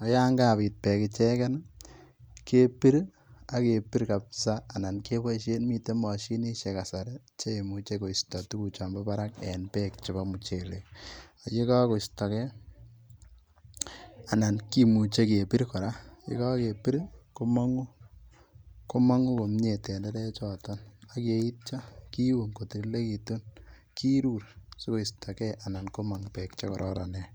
ak yan kabit bek icheken kebir ak kebir kabisa anan keboishen miten moshinishek kasari cheimuche koisto tukuchon boo barak en bek chebo muchelek yekokostokee ,anan kimuche kebir koraa yekokebir komongu, komongu komie tenderechoton ak yeitio kiun kotililekitun kirur sikoisto anan komong bek chekororonen.